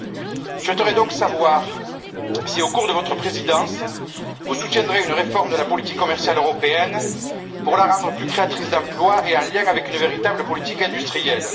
Je souhaiterais donc savoir si, au cours de votre Présidence, vous soutiendrez une réforme de la politique commerciale européenne pour la rendre plus créatrice d'emplois et davantage liée à une véritable politique industrielle?